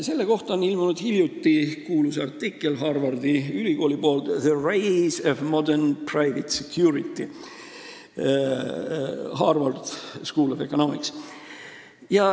Selle kohta on ilmunud kuulus Harvardi ülikooli artikkel: "The Rise of the Modern Private Security Industry [...